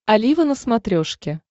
олива на смотрешке